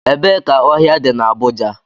Ebee ka ohia di na Abuja?